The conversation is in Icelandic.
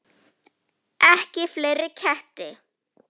Ekki fleiri ketti.